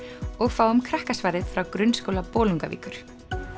og fáum frá Grunnskóla Bolungarvíkur